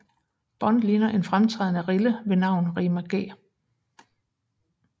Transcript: Bond ligger en fremtrædende rille ved navn Rima G